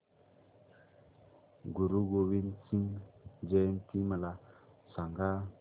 गुरु गोविंद सिंग जयंती मला सांगा